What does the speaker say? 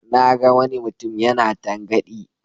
Na ga wani mutum yana tangaɗi.